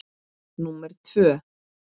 númer tvö.